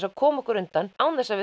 að koma okkur undan án þess að